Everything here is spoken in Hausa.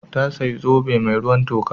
Ta sayi zobe mai ruwan toka.